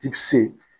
I c